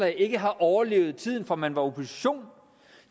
ikke har overlevet tiden fra man var opposition